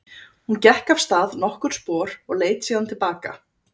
Hún gekk af stað nokkur spor og leit síðan til baka.